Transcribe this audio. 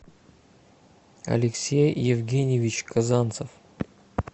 алексей евгеньевич казанцев